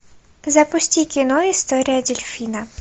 запусти кино история дельфина